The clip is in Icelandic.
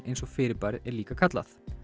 eins og fyrirbærið er líka kallað